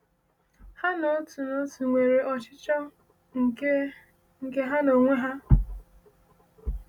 Ha n’otu n’otu nwere ọchịchọ nke nke ha onwe ha?